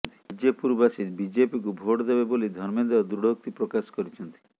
ବିଜେପୁରବାସୀ ବିଜେପିକୁ ଭୋଟ ଦେବେ ବୋଲି ଧର୍ମେନ୍ଦ୍ର ଦୃଢ଼ୋକ୍ତି ପ୍ରକାଶ କରିଛନ୍ତି